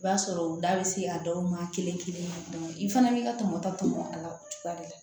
I b'a sɔrɔ u da bɛ se a dɔw ma kelen kelen na i fana b'i ka tɔmɔta tɔmɔ a la o cogoya de la